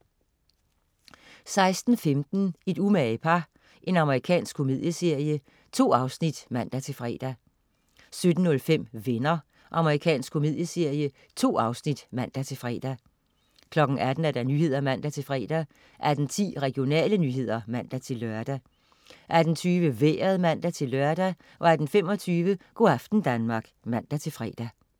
16.15 Et umage par. Amerikansk komedieserie. 2 afsnit (man-fre) 17.05 Venner. Amerikansk komedieserie. 2 afsnit (man-fre) 18.00 Nyhederne (man-fre) 18.10 Regionale nyheder (man-lør) 18.20 Vejret (man-lør) 18.25 Go' aften Danmark (man-fre)